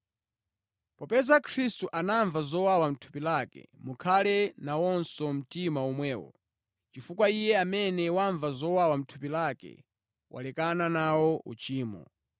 Popeza kuti Khristu anamva zowawa mʼthupi lake, mukhale nawonso mtima omwewo, chifukwa iye amene wamva zowawa mʼthupi lake walekana nawo uchimo.